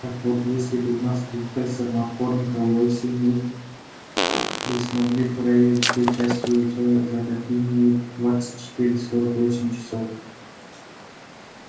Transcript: так вот если бы у нас был тестер маккормика-уэсли мы мы смогли проверить все части его тела за какие-нибудь двадцать четыре сорок восемь часов